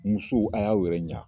Musow a y'aw yɛrɛ ɲa